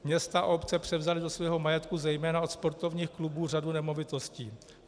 Města a obce převzaly do svého majetku zejména od sportovních klubů řadu nemovitostí.